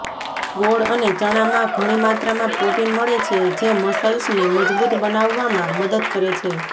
ગોળ અને ચણામાં ઘણી માત્રામાં પ્રોટીન મળે છે જે મસલ્સને મજબૂત બંનાવવામાં મદદ કરે છે